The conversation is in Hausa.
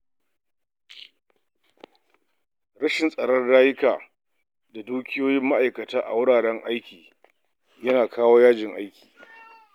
Rashin tsaron rayuka da dukiyoyin ma’aikata a wuraren aiki ya na kawo yajin aiki.